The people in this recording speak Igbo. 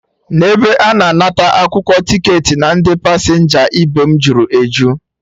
N'ebe a na-anata akwụkwọ ticketị ka ndị pasenja ibem juru eju